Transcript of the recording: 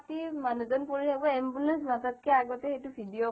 ভৰি এখন কাতি মানুহ জন পৰি থাকিব ambulance মাতাতকৈ আগেই video কৰিব